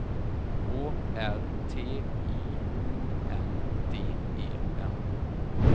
Å R T I O N D E N